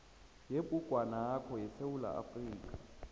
yebhugwanakho yesewula afrika